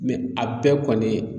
a bɛɛ kɔni